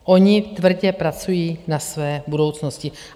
Oni tvrdě pracují na své budoucnosti.